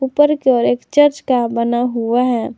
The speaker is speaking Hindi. ऊपर की ओर एक चर्च का बना हुआ है।